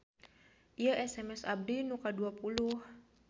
Ieu SMS abdi nu kadua puluh